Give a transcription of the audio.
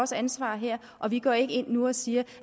tager ansvar her og vi går ikke ind nu og siger